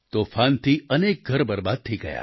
તોફાનથી અનેક ઘર બરબાદ થઈ ગયા